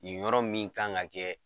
Yen yɔrɔ min kan ka kɛ